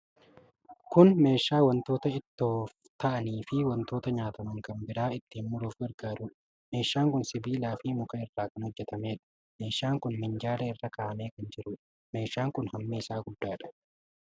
Kun meeshaa wantoota ittoof ta'anii fi wantoota nyaataman kan biraa ittin muruuf gargaarudha. Meeshaan kun sibiila fi muka irraa kan hojjatameedha. meeshaan kun minjaala irra ka'amee kan jiruudha. Meeshaa kun hammi isaa guddaadha.